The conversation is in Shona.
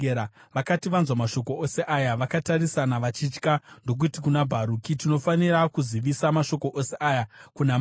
Vakati vanzwa mashoko ose aya, vakatarisana vachitya ndokuti kuna Bharuki, “Tinofanira kuzivisa mashoko ose aya kuna mambo.”